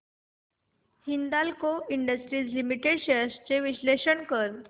Hindalco industries limited shares चे विश्लेषण कर